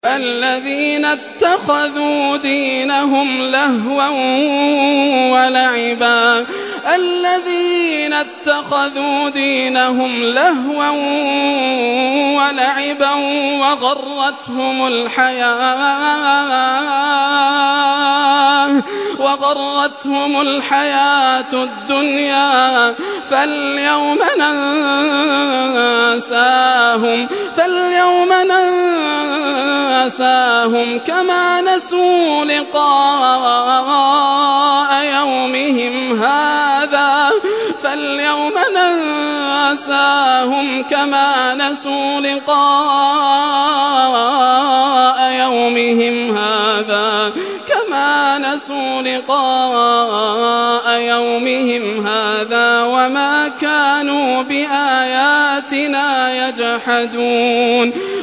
الَّذِينَ اتَّخَذُوا دِينَهُمْ لَهْوًا وَلَعِبًا وَغَرَّتْهُمُ الْحَيَاةُ الدُّنْيَا ۚ فَالْيَوْمَ نَنسَاهُمْ كَمَا نَسُوا لِقَاءَ يَوْمِهِمْ هَٰذَا وَمَا كَانُوا بِآيَاتِنَا يَجْحَدُونَ